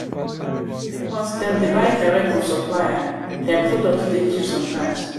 because dem dey buy direct from supplier their producs dey cheap sometimes